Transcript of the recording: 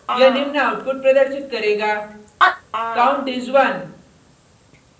यह निम्न आउटपुट प्रदर्शित करेगा count is 1